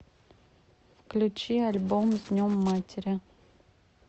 включи альбом с днем матери